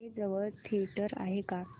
इथे जवळ थिएटर आहे का